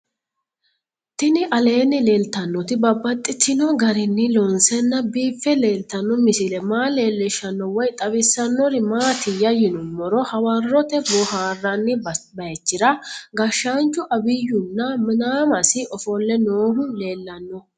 Tinni aleenni leelittannotti babaxxittinno garinni loonseenna biiffe leelittanno misile maa leelishshanno woy xawisannori maattiya yinummoro hawarootte boohaarranni bayichira gashshaanchu abiyu na minaamasi ofolle noohu leellanno